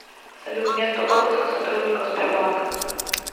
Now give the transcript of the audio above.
салют место отпуска сотрудников сбербанка